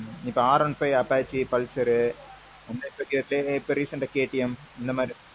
இப்போ R one five apache pulsar யு அந்த செட்ல KTM இந்த மாறி.